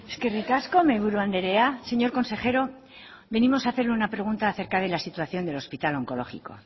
eskerrik asko mahaiburu andrea señor consejero venimos a hacerle una pregunta acerca de la situación del hospital onkologiko